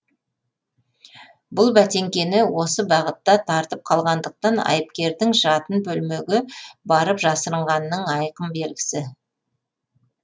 бүл бәтеңкені осы бағытта тартып қалғандықтан айыпкердің жатын бөлмеге барып жасырынғанының айқын белгісі